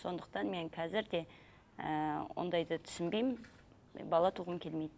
сондықтан мен қазір де ыыы ондайды түсінбеймін бала туғым келмейді